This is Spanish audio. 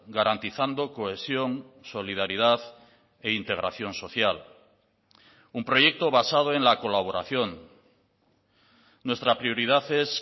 garantizando cohesión solidaridad e integración social un proyecto basado en la colaboración nuestra prioridad es